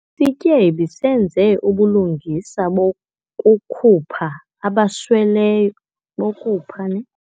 Isityebi senze ubulungisa bokukhupha abasweleyo bokupha neh.